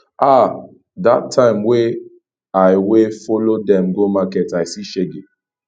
ah dat time wey i wey i follow dem go market i see shege